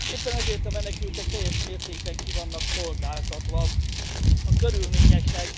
Éppen ezért a menekültek teljes mértékben ki vannak szolgáltatva a körülményeknek.